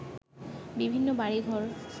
বিভিন্ন বাড়িঘর